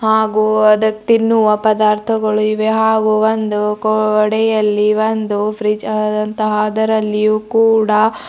ಹಾಗು ಅದೆ ತಿನ್ನುವ ಪದಾರ್ಥಗಳು ಇವೆ ಹಾಗು ಒಂದು ಗೋಡೆಯಲ್ಲಿ ಒಂದು ಫ್ರೀಜ್ ಆದಂತಹ ಅದರಲ್ಲಿಯೂ ಕೂಡ --